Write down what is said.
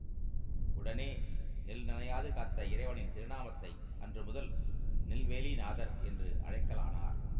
உடனே நெல் நனையாது காத்த இறைவனின் திருநாமத்தை அன்று முதல் நெல்வேலி நாதர் என்று அழைக்கலானார்